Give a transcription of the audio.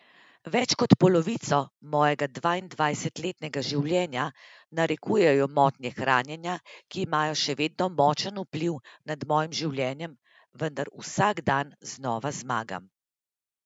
Več kot polovico mojega dvaindvajsetletnega življenja narekujejo motnje hranjenja, ki imajo še vedno močan vpliv nad mojim življenjem, vendar vsak dan znova zmagam.